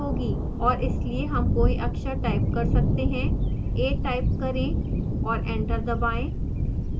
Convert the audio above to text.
और इसलिए हम कोई अक्षर type कर सकते हैं a type करें और enter दबाएं